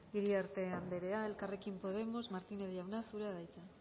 iriarte anderea elkarrekin podemos martínez jauna zurea da hitza